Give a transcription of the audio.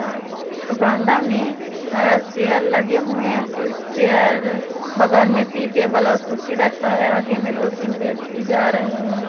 और बांदा में अह चेयर लगे हुए है कुछ चेयर बगल में टी टेबल और कुर्सी रखा है आगे में दो तीन व्यक्ति जा रहे हैं।